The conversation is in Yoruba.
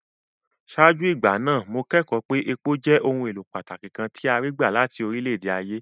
Ṣáájú ìgbà náà, mo kẹ́kọ̀ọ́ pé epo jẹ́ ohun èlò pàtàkì kan tí a rí gbà láti orílẹ̀-ayé.